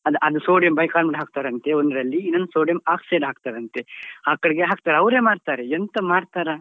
ಅದು ಅ~ ಅದು sodium bicarbonate ಹಾಕ್ತರಂತೆ ಒಂದ್ರಲ್ಲಿ ಇನ್ನೊಂದ್ sodium oxide ಹಾಕ್ತರಂತೆ ಹಾಕ್ತಾರೆ ಅವ್ರೆ ಮಾಡ್ತಾರೆ ಎಂತ ಮಾಡ್ತಾರಾ.